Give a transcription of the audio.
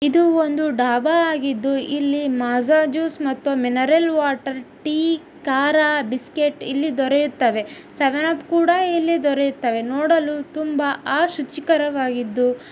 ಇದು ಒಂದು ಡಾಬಾ ಆಗಿದ್ದು ಇಲ್ಲಿ ಮಾಜಾ ಮತ್ತು ಜ್ಯೂಸ್ ಮತ್ತು ಮಿನರಲ್ ವಾಟರ್ ಟೀ ಖಾರಾ ಬಿಸ್ಕ್ಯೂಟ್ ಇಲ್ಲಿ ದೊರೆಯುತ್ತದೆ ಸೆವೆನ್ಅಪ್ ಕೂಡ ದೊರೆಯುತ್ತದೆ ನೋಡಲು ತುಂಬಾ ಶುಚಿ ಆ ಕರವಾಗಿದೆ